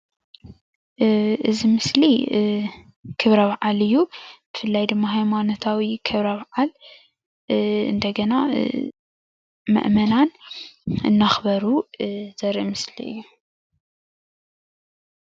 እዚ ምስሊ ክብረ በዓል እዩ፣ ብፍላይ ድማ ሃይማኖታዊ ክብረ በዓል ምእመናን እናኽበሩ ዘርኢ ምስሊ እዩ።